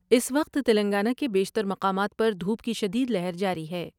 اس وقت تلنگانہ کے بیشتر مقامات پر دھوپ کی شدید لہر جاری ہے ۔